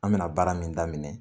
An mina baara min da minɛ